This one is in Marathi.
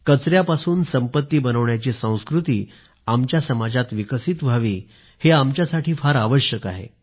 कचऱ्यापासून संपत्ती बनवण्याची संस्कृती आमच्या समाजात विकसित व्हावी हे आमच्यासाठी फार आवश्यक आहे